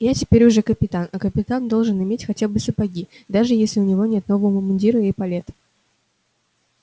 я теперь уже капитан а капитан должен иметь хотя бы сапоги даже если у него нет нового мундира и эполет